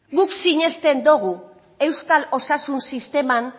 guk sinesten dugu euskal osasun sisteman